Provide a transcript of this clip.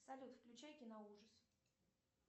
салют включай киноужас